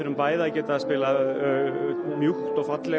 bæði að geta spilað mjúkt og fallegt